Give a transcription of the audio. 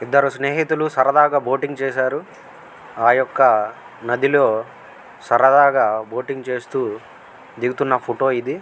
ఇద్దరు స్నేహితుల్లు సరదగా బోటింగ్ చేసారు ఆ యొక్క నది లో సరదాగా బోటింగ్ చేస్తూ దిగుతున ఫోటో ఇది.